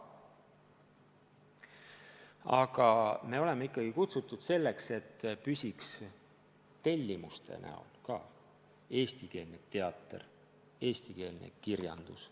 Aga me oleme ikkagi kutsutud tagama, et ka tänu tellimustele püsiks eestikeelne teater, eestikeelne kirjandus.